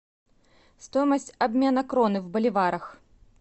стоимость обмена кроны в боливарах